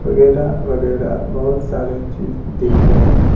वगैरा-वगैरा बहुत सारे चीज दिख रहे हैं।